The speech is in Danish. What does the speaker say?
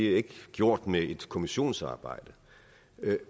er gjort med et kommissionsarbejde